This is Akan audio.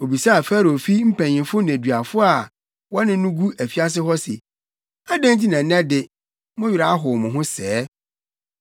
Obisaa Farao fi mpanyimfo nneduafo a na wɔne no gu afiase hɔ no se, “Adɛn nti na nnɛ de, mo werɛ ahow mo ho sɛɛ?”